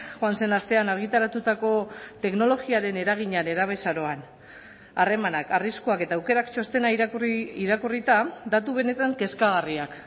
joan zen astean argitaratutako teknologiaren eragina nerabezaroan harremanak arriskuak eta aukerak txostena irakurri irakurrita datu benetan kezkagarriak